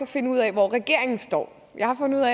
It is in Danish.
finde ud af hvor regeringen står jeg har fundet